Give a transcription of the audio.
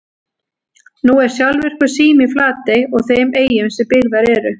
Nú er sjálfvirkur sími í Flatey og þeim eyjum sem byggðar eru.